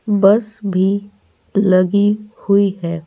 बस भी लगी हुई है।